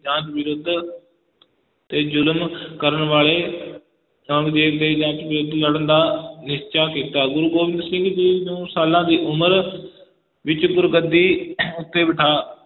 ਜਾਂਚ ਵਿਰੁੱਧ ਤੇ ਜ਼ੁਲਮ ਕਰਨ ਵਾਲੇ ਔਰੰਗਜੇਬ ਦੇ ਜਾਂਚ ਵਿਰੁੱਧ ਲੜਨ ਦਾ ਨਿਸ਼ਚਾ ਕੀਤਾ, ਗੁਰੂ ਗੋਬਿੰਦ ਸਿੰਘ ਜੀ ਨੂੰ ਸਾਲਾਂ ਦੀ ਉਮਰ ਵਿਚ ਗੁਰਗੱਦੀ ਉੱਤੇ ਬੈਠਾ,